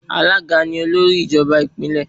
Alága ni olórí ìjọba ìpínlè.